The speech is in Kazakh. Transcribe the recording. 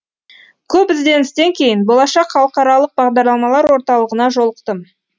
көп ізденістен кейін болашақ халықаралық бағдарламар орталығына жолықтым